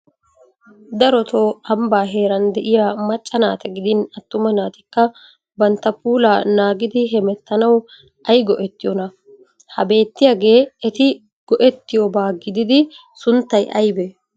Darotoo ambbaa heeran de'iya macca naata gidin attuma naatikka bantta puulaa naagidi hemettanawu ay go'ettiyonaa? Ha beettiyagee eti gi'ettiyobaa gididi sunttay aybee?